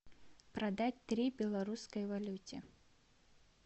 продать три белорусской валюты